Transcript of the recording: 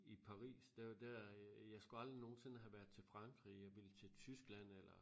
I Paris der der øh jeg skulle aldrig nogensinde have været til Frankrig jeg ville til Tyskland eller